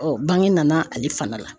bange nana ale fana la.